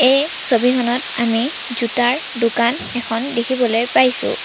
এই ছবিখনত আমি জোতাৰ দোকান এখন দেখিবলৈ পাইছোঁ।